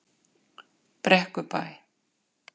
Brekkubæ